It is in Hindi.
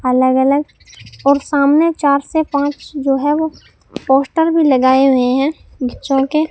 अलग अलग और सामने चार से पांच जो है वो पोस्टर भी लगाए हुए हैं जो के--